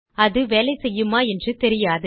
அது வேலை செய்யுமா என்று தெரியாது